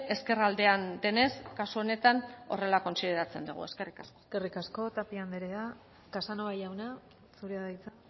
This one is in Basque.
ezkerraldean denez kasu honetan horrela kontsideratzen dugu eskerrik asko eskerrik asko tapia anderea casanova jauna zurea da hitza